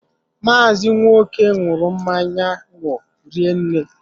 Maazi Nwoke ñuru mmanya ńgwọ rinne